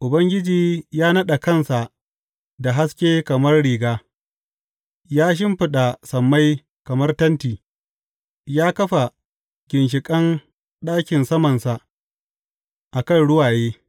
Ubangiji ya naɗe kansa da haske kamar riga ya shimfiɗa sammai kamar tenti ya kafa ginshiƙan ɗakin samansa a kan ruwaye.